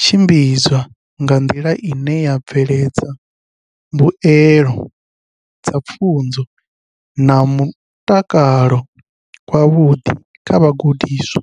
tshimbidzwa nga nḓila ine ya bveledza mbuelo dza pfunzo na mutakalo wavhuḓi kha vhagudiswa.